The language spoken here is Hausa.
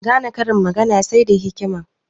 Gane karin magana sai da hikima